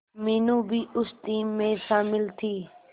मीनू भी उस टीम में शामिल थी